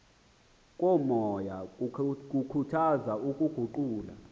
komoya kukhuthaza ukuguqula